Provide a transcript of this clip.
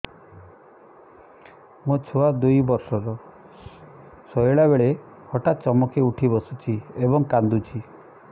ମୋ ଛୁଆ ଦୁଇ ବର୍ଷର ଶୋଇଲା ବେଳେ ହଠାତ୍ ଚମକି ଉଠି ବସୁଛି ଏବଂ କାଂଦୁଛି